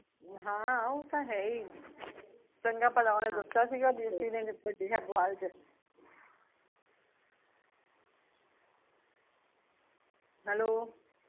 ਹਾਂ ਓਹ ਤਾਂ ਹੈ ਹੀਂ, ਚੰਗਾ ਭਲਾ ਓਹਨੇ ਦੱਸਿਆ ਸੀਗਾ ਵੀ ਵੱਡੇ ਹੇਬੋਆਲ ਚ ਏਕ ਹੈਲੋ